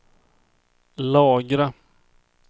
lagra